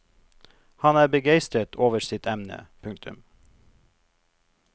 Han er begeistret over sitt emne. punktum